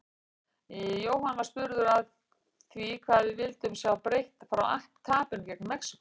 Jóhann var spurður að því hvað við vildum sjá breytt frá tapinu gegn Mexíkó?